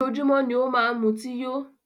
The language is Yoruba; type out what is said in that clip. Ojoójúmọ́ ni ó máa n mutí yó.